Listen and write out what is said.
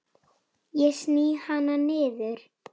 Ég sný hana niður.